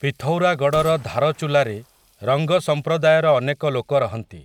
ପିଥୌରାଗଡ଼ର ଧାରଚୁଲାରେ ରଙ୍ଗ ସମ୍ପ୍ରଦାୟର ଅନେକ ଲୋକ ରହନ୍ତି ।